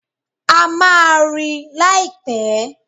A máa rí i láìpẹ́.